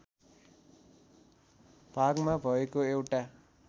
भागमा भएको एउटा